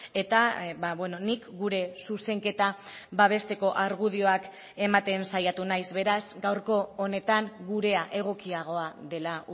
eta nik gure zuzenketa babesteko argudioak ematen saiatu naiz beraz gaurko honetan gurea egokiagoa dela